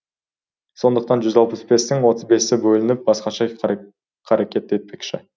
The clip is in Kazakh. сондықтан жүз алпыс бестің отыз бесі өзі бөлініп басқаша қарекет етпекші